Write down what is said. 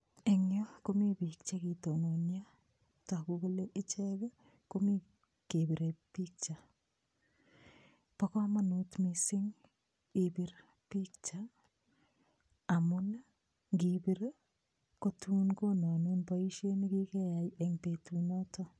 Eng yu komi biik che kitononio. Tagu kole ichek komi kebire picha. Bo kamanut mising ibir picha amun ngipir kotun konome boisiet ne kikeyai eng betunoto.